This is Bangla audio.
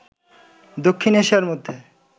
দক্ষিণ এশিয়ার মধ্যে